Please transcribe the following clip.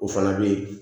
O fana bɛ yen